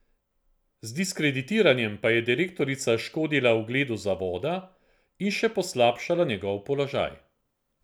Z diskreditiranjem pa je direktorica škodila ugledu zavoda in še poslabšala njegov položaj.